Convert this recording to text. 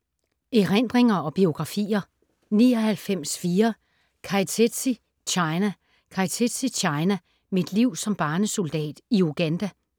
Erindringer og biografier